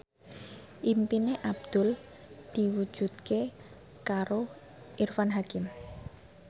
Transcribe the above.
impine Abdul diwujudke karo Irfan Hakim